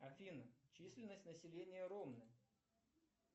афина численность населения ромны